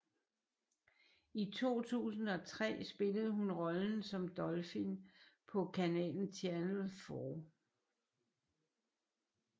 I 2003 spillede hun rollen som Dolphin på kanalen Channel 4